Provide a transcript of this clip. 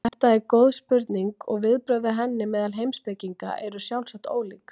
Þetta er góð spurning og viðbrögð við henni meðal heimspekinga eru sjálfsagt ólík.